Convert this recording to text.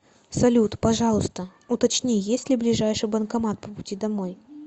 салют пожалуйста уточни есть ли ближайший банкомат по пути домой